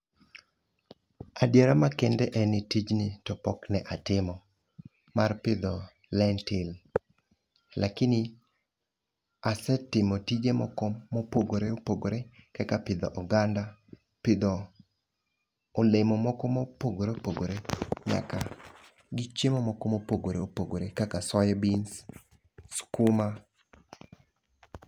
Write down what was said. Adiera ma kende en ni tijni to pok ne atimo, mar pidho lentil. Lakini asetimo tije moko mopogore opogore kaka pidho oganda, pidho olemo moko mopogore opogore nyaka gi chiemo moko mopogore opogore kaka soy beans, skuma.